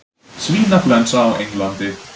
Svínaflensa á Englandi